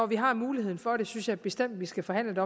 vi har muligheden for det synes jeg bestemt vi skal forhandle